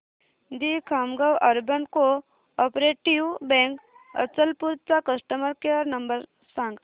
दि Khamgaon urban cooperative bank Achalpur चा customer care number सांग